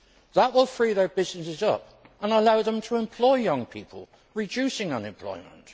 That will free their businesses up and allow them to employ young people, reducing unemployment.